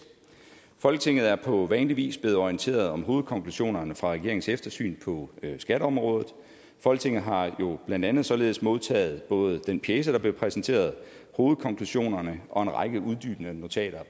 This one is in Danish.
folketinget er på vanlig vis blevet orienteret om hovedkonklusionerne fra regeringens eftersyn på skatteområdet folketinget har jo blandt andet således modtaget både den pjece der blev præsenteret hovedkonklusionerne og også en række uddybende notater